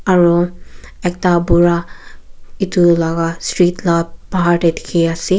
aru ekta bura etu laga street laga bahar te dikhi ase.